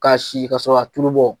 K'a si ka sɔrɔ k'a tulu bɔ